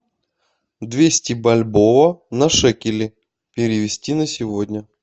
двести бальбоа на шекели перевести на сегодня